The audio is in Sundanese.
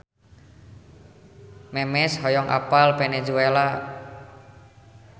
Memes hoyong apal Venezuela